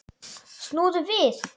Snúðu við!